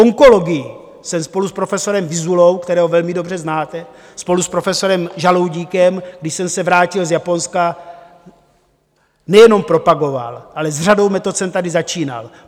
Onkologii jsem spolu s profesorem Vyzulou, kterého velmi dobře znáte, spolu s profesorem Žaloudíkem, když jsem se vrátil z Japonska, nejenom propagoval, ale s řadou metod jsem tady začínal.